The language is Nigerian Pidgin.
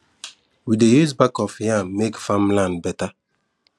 we dey use back of yam to make farmland better